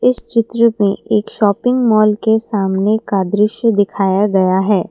इस चित्र में एक शॉपिंग मॉल के सामने का दृश्य दिखाया गया है।